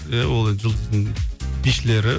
е ол енді жұлдыздың бишілері